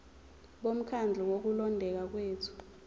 bomkhandlu wokulondeka kwethu